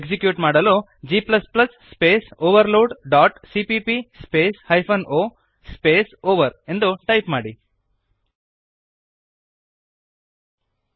execute ಮಾಡಲು g space overload dot cpp space hyphen o space over ಎಂದು type ಮಾಡಿರಿ